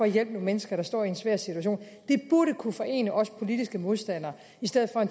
hjælpe nogle mennesker der står i en svær situation det burde kunne forene også politiske modstandere i stedet for at